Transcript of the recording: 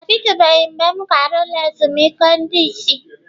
Ọ dịtụbeghị mgbe m gara ụlọ ezumike ndị isi.